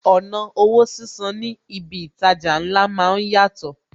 Ọ̀nà owó sísan ní ibi itaja ńlá máa ń yàtọ̀